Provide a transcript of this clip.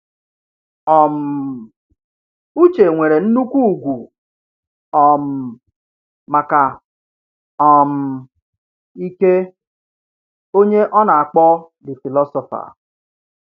um Uche nwere nnukwu ùgwù um maka um Ike, onye ọ na-akpọ The Philosopher.